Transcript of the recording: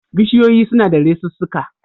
Bishiyoyi suna da resussuka